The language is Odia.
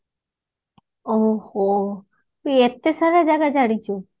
ଓ ହୋ ତୁ ଏତେ ସାରା ଜାଗା ଜାଣିଛୁ